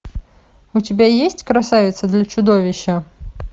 у тебя есть красавица для чудовища